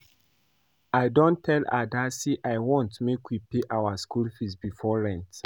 I don tell Ada say I want make we pay for our school fees before rent